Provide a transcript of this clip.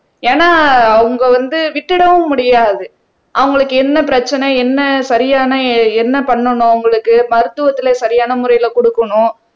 ஏன்னா அவங்க வந்து விட்டுடவும் முடியாது அவங்களுக்கு என்ன பிரச்சனை என்ன சரியான என்ன பண்ணணும் அவங்களுக்கு மருத்துவத்துல சரியான முறையில கொடுக்கணும்